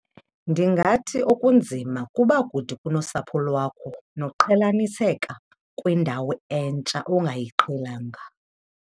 Ndingathi okunzima kuba kude kunosapho lwakho noqhelaniseka kwendawo entsha ongayiqhelanga.